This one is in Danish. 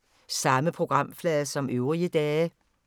Samme programflade som øvrige dage